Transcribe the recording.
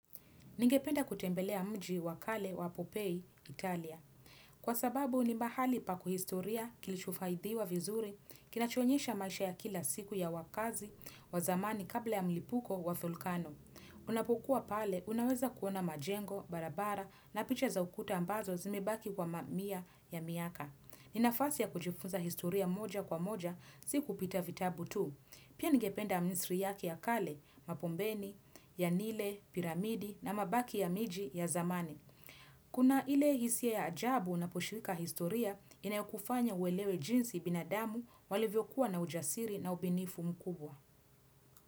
Ningependa kutembelea mji wakale wa Pompeii, Italia. Kwa sababu, ni mahali paku historia kilichofaidiwa vizuri, kinachonyesha maisha ya kila siku ya wakazi, wazamani kabla ya mlipuko wa volkano. Unapokuwa pale, unaweza kuona majengo, barabara, na picha za ukuta ambazo zimebaki kwa mamia ya miaka. Ninafasi ya kujifunza historia moja kwa moja, si kupita vitabu tu. Pia ningependa yake ya kale, Mapombeni, ya nile, piramidi na mabaki ya miji ya zamani Kuna ile hisia ya ajabu anaposhiriki historia Inayokufanya uelewe jinsi binadamu walivyo kuwa na ujasiri na ubunifu mkubwa.